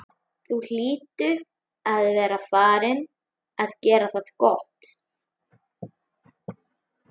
Þú hlýtur að vera farinn að gera það gott!